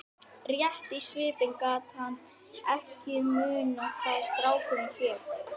Rétt í svipinn gat hann ekki munað hvað strákurinn hét.